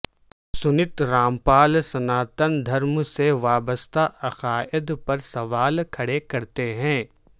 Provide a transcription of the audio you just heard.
سنت رامپال سناتن دھرم سے وابستہ عقائد پر سوال کھڑے کرتے ہیں